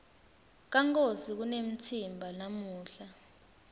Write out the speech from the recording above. kankosi kunemtsimba namuhla